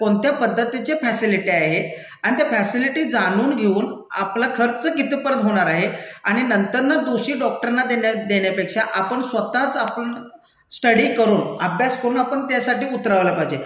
कोणत्या पद्धतीच्या फॅसिलिट्या आहे? आणि त्या फॅसिलिटी जाणून घेऊन, आपला खर्च कितपर्यंत होणार आहे? आणि नंतर ना दोषी डॉक्टरना देण्या, देण्यापेक्षा आपण स्वतःच आपण स्टडी करून, अभ्यास करून आपण त्यासाठी उतरवायला पाहिजे.